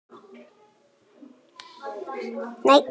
Mun alltaf svara kalli íslenska landsliðsins